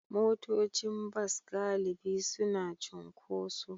Motocin bas galibi suna cunkoso.